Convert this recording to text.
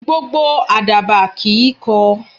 Gbogbo Àdàbà kìí kọ.